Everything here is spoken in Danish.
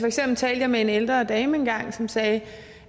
eksempel talte jeg med en ældre dame engang som sagde